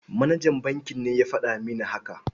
Manajan bankin ne ya faɗa mini haka.